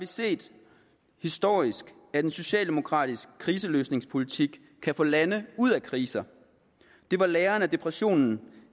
set historisk at en socialdemokratisk kriseløsningspolitik kan få lande ud af kriser det var læren af depressionen